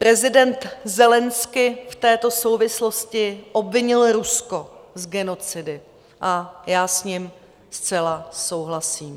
Prezident Zelenskyj v této souvislosti obvinil Rusko z genocidy a já s ním zcela souhlasím.